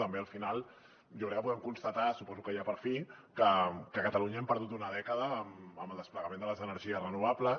també al final jo crec que podem constatar suposo que ja per fi que a catalunya hem perdut una dècada en el desplegament de les energies renovables